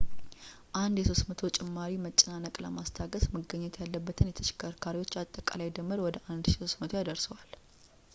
አንድ የ300 ጭማሪ መጨናነቅ ለማስታገስ መገኘት ያለበትን የተሸከርካሪዎች አጠቃላይ ድምር ወደ 1,300 ያደርሰዋል